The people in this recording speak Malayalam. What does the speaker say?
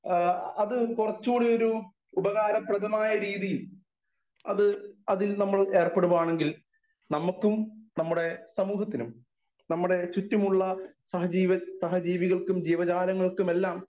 സ്പീക്കർ 1 ആ അത് കുറച്ചുകൂടെ ഒരു ഉപകാരപ്രതമയരീതിയിൽ അത് അതിൽ നമ്മൾ ഏർപ്പെടുവാണെങ്കിൽ നമുക്കും നമ്മുടെ സമൂഹത്തിനും നമ്മുടെ ചുറ്റുമുള്ള സഹജ്ജീവൻ സഹജീവികൾക്കും ജീവജാലങ്ങൾക്കും എല്ലാം